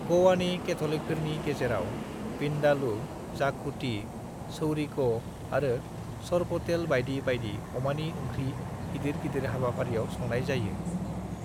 "गोवानि कैथ'लिकफोरनि गेजेराव विंडालू, जाकुटी, चौरिको आरो सोरपोटेल बाइदि बाइदि अमानि ओंख्रि गिदिर गिदिर हाबाफारियाव संनाय जायो।"